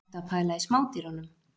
Ertu að pæla í smádýrunum?